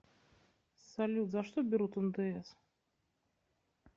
салют за что берут ндс